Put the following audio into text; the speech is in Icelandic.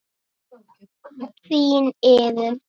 Þín Iðunn.